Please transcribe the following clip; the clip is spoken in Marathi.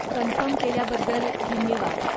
कन्फर्म केल्याबद्दल धन्यवाद.